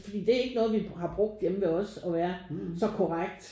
Fordi det er ikke noget vi har brugt hjemme ved os og være så korrekt